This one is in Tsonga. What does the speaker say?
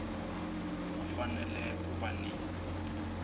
u fanele ku va ni